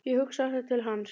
Ég hugsa alltaf til hans.